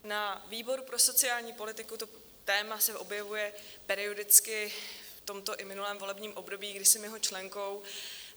Na výboru pro sociální politiku se to téma objevuje periodicky v tomto i minulém volebním období, kdy jsem jeho členkou.